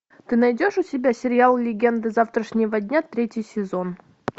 ты найдешь у себя сериал легенды завтрашнего дня третий сезон